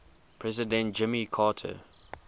president jimmy carter